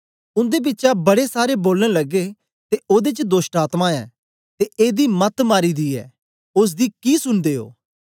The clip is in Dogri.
उन्दे बिचा बड़े सारे बोलन लगे ते ओदे च दोष्टआत्मा ऐ ते एदी मत्त मारी दी ऐ ओसदी कि सुनदे ओ